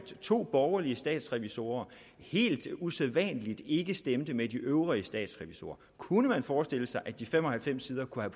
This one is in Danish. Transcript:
to borgerlige statsrevisorer helt usædvanligt ikke stemte med de øvrige statsrevisorer kunne man forestille sig at de fem og halvfems sider kunne